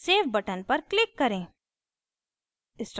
save button पर click करें